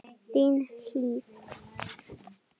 Þín, Hlíf.